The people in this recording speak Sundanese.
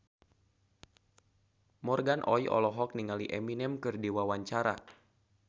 Morgan Oey olohok ningali Eminem keur diwawancara